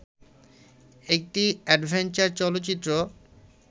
একটি অ্যাডভেঞ্চার চলচ্চিত্র